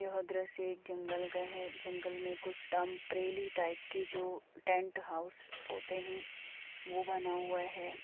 यह दृश्य एक जंगल का है जंगल में कुछ टेंपरेरी टाइप के जो टेंट हाउस होते हैं वो बना हुआ है।